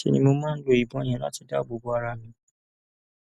ṣe ni mo máa ń lo ìbọn yẹn láti dáàbò bo ara mi